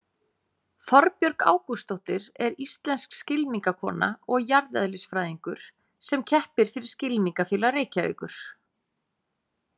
Þorbjörg Ágústsdóttir er íslensk skylmingakona og jarðeðlisfræðingur sem keppir fyrir Skylmingafélag Reykjavíkur.